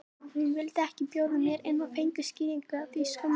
Hún vildi ekki bjóða mér inn og ég fékk skýringu á því skömmu síðar